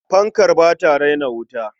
Fankar ba ta raina wuta.